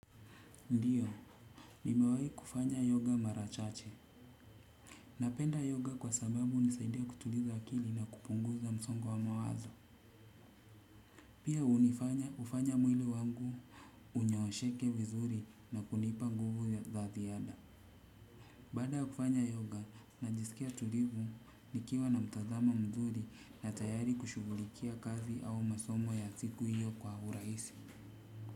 Ndiyo, nimewahi kufanya yoga mara chache. Napenda yoga kwa sababu hunisaidia kutuliza akili na kupunguza msongo wa mawazo. Pia hufanya mwili wangu unyoosheke vizuri na kunipa nguvu za ziada. Baada kufanya yoga najisikia mtulivu nikiwa na mtazamo mzuri na tayari kushughulikia kazi au masomo ya siku hiyo kwa urahisi.